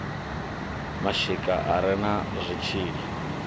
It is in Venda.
mashika a re na zwitshili